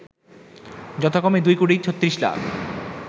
যথাক্রমে ২ কোটি ৩৬ লাখ